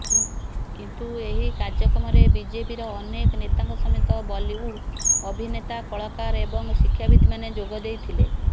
କିନ୍ତୁ ଏହି କାର୍ଯ୍ୟକ୍ରମରେ ବିଜେପିର ଅନେକ ନେତାଙ୍କ ସମେତ ବଲିଉଡ୍ ଅଭିନେତା କଳାକାର ଏବଂ ଶିକ୍ଷାବିତ୍ମାନେ ଯୋଗଦେଇଥିଲେ